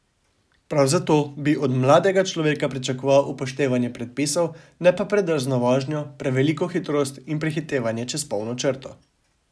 Prav zato bi od mladega človeka pričakoval upoštevanje predpisov, ne pa predrzno vožnjo, preveliko hitrost in prehitevanje čez polno črto.